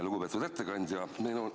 Lugupeetud ettekandja!